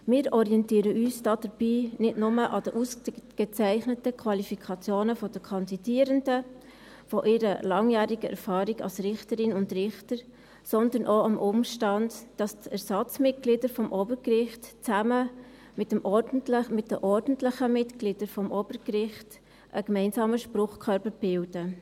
Wir orientieren uns dabei nicht nur an den ausgezeichneten Qualifikationen der Kandidierenden, an ihrer langjährigen Erfahrung als Richterin und als Richter, sondern auch am Umstand, dass die Ersatzmitglieder des Obergerichts zusammen mit den ordentlichen Mitgliedern des Obergerichts einen gemeinsamen Spruchkörper bilden.